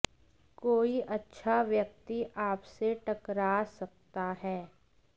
कोई अच्छा व्यक्ति आप से टकरा सकता है